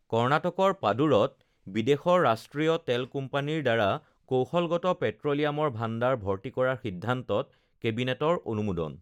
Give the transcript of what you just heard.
কৰ্ণাটকৰ পাদুৰত বিদেশৰ ৰাষ্ট্ৰীয় তেল কোম্পানীৰ দ্বাৰা কৌশলগত পেট্ৰ লিয়ামৰ ভাণ্ডাৰ ভৰ্তি কৰাৰ সিদ্ধান্তত কেবিনেটৰ অনুমোদন